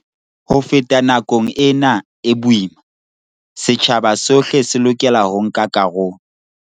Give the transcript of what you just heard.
Ho feta nakong ena e boima, setjhaba sohle se lokela ho nka karolo.